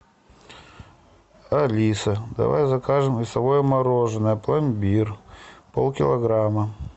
алиса давай закажем весовое мороженое пломбир полкилограмма